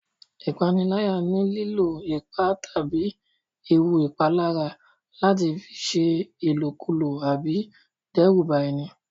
Ìpániláyà ni lílò ipá tàbí ewu ìpalára láti fi ṣe ìlọ̀kulọ̀ àbí dẹ́rùba ẹni